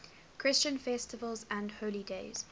christian festivals and holy days